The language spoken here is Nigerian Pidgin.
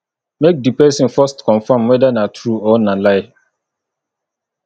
make di persin first confirm whether na true or na lie